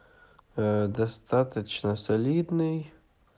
а достаточно солидный